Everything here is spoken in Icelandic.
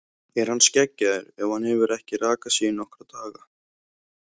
Er hann skeggjaður ef hann hefur ekki rakað sig í nokkra daga?